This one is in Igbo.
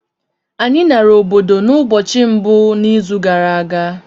Anyị nara obodo n’ụbọchị mbụ n’izu gara aga